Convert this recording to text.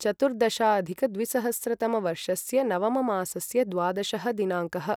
चतुर्दशाधिकद्विसहस्रतमवर्षस्य नवममासस्य द्वादशः दिनाङ्कः